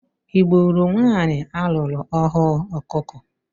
I gburu nwanyị a lụrụ ọhụụ ọkụkọ?